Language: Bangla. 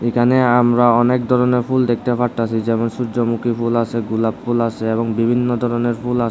এখানে আমরা অনেক ধরনের ফুল দেখতে পারতাসি যেমন সূর্যমুখী ফুল আসে গোলাপ ফুল আসে এবং বিভিন্ন ধরনের ফুল আসে।